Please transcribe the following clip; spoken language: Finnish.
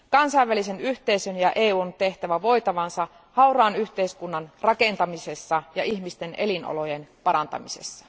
Kansainvälisen yhteisön ja EUn on tehtävä voitavansa hauraan yhteiskunnan rakentamisessa ja ihmisten elinolojen parantamisessa.